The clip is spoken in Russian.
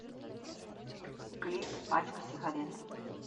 клип пачка сигарет